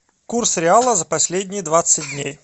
курс реала за последние двадцать дней